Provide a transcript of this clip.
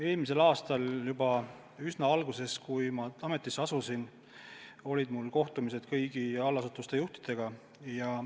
Eelmisel aastal, üsna alguses, kui ma ametisse asusin, olid mul kohtumised kõigi allasutuste juhtidega.